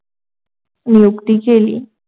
नियुक्ती केली.